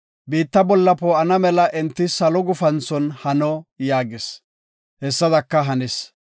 Biitta bolla poo7ana mela enti salo gufanthon hano” yaagis; hessadaka hanis.